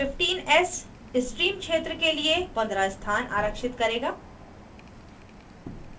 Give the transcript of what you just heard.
15s stream क्षेत्र के लिए 15s स्थान आरक्षित करेगा